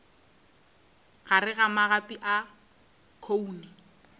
gare ga magapi a khoune